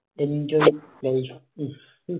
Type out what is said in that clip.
enjoy life